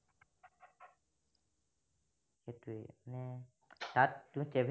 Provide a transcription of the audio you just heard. তাত তুমি